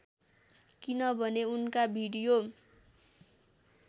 किनभने उनका भिडियो